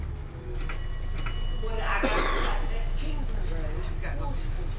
gore a ka se late